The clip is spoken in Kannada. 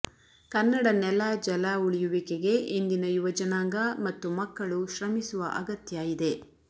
ಕನ್ನಡ ನೆಲ ಜಲ ಉಳಿಯುವಿಕೆಗೆ ಇಂದಿನ ಯುವ ಜನಾಂಗ ಮತ್ತು ಮಕ್ಕಳು ಶ್ರಮಿಸುವ ಅಗತ್ಯ ಇದೆ